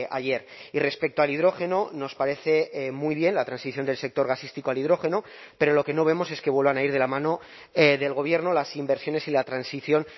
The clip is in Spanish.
ayer y respecto al hidrógeno nos parece muy bien la transición del sector gasístico al hidrógeno pero lo que no vemos es que vuelvan a ir de la mano del gobierno las inversiones y la transición